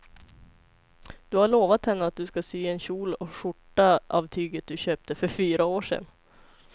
Du har lovat henne att du ska sy en kjol och skjorta av tyget du köpte för fyra år sedan.